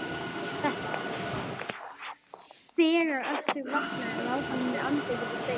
Þegar Össur vaknaði lá hann með andlitið við spegilinn.